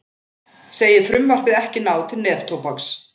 Segir frumvarpið ekki ná til neftóbaks